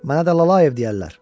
Mənə də Lalayev deyərlər.